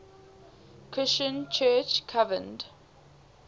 christian church convened